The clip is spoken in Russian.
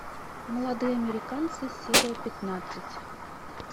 молодые американцы серия пятнадцать